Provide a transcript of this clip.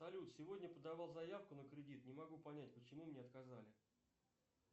салют сегодня подавал заявку на кредит не могу понять почему мне отказали